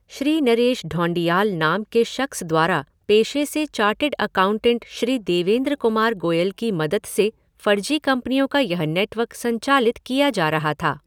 श्री नरेश ढौंडियाल नाम के शख़्स द्वारा पेशे से चार्टर्ड अकाउंटेंट श्री देवेंद्र कुमार गोयल की मदद से फर्जी कंपनियों का यह नेटवर्क संचालित किया जा रहा था।